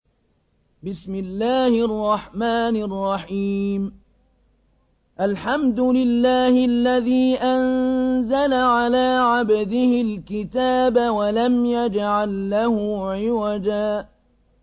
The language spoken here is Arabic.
الْحَمْدُ لِلَّهِ الَّذِي أَنزَلَ عَلَىٰ عَبْدِهِ الْكِتَابَ وَلَمْ يَجْعَل لَّهُ عِوَجًا ۜ